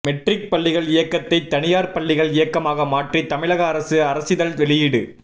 matric பள்ளிகள் இயக்ககத்தை தனியார் பள்ளிகள் இயக்கமாக மாற்றி தமிழக அரசு அரசிதழ் வெளியீடு